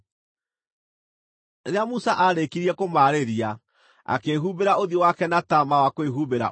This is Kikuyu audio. Rĩrĩa Musa aarĩkirie kũmaarĩria, akĩĩhumbĩra ũthiũ wake na taama wa kwĩhumbĩra ũthiũ.